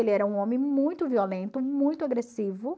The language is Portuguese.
Ele era um homem muito violento, muito agressivo.